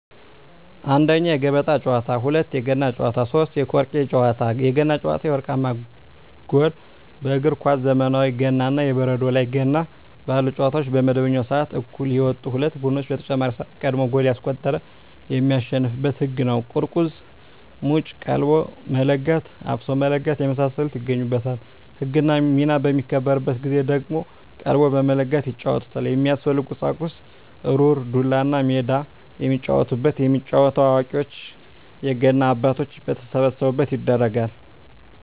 1ኛ, የገበጣ ጨዋታ, 2ኛ, የገና ጨዋታ, 3ኛ የቆርኪ ጨዋታ ናቸው። የገና ጨዋታ የወርቃማ ጎል በእግር ኳስ ዘመናዊ ገና እና የበረዶ ላይ ገና ባሉ ጨዋታዎች በመደበኛው ስዓት እኩል የወጡ ሁለት ቡድኖች በተጨማሪ ስዓት ቀድሞ ጎል ያስቆጠረ የሚያሸንፋበት ህግ ነው ቁርቁዝ ሙጭ ,ቀልቦ መለጋት ,አፍሶ መለጋት የመሳሰሉት ይገኙበታል። ህግና ሚና በሚከበርበት ጊዜ ደግሞ ቀልቦ በመለጋት ይጫወቱታል። የሚያስፈልጉ ቁሳቁስ ሩር, ዱላ, እና ሜዳ የሚጫወቱበት። የሚጫወተው አዋቂዎች የገና አባቶች በተሰበሰቡበት ይደረጋል።